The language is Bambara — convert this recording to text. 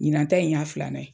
Ɲinan ta in y'a filanan ye.